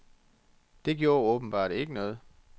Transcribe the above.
Det gjorde åbenbart ikke noget.